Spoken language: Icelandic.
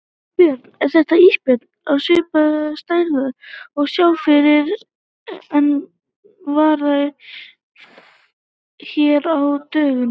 Björn: Er þetta ísbjörn á svipaðrar stærðar og sá fyrri er var hér á dögunum?